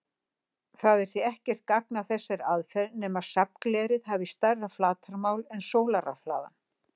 Það er því ekkert gagn að þessari aðferð nema safnglerið hafi stærra flatarmál en sólarrafhlaðan.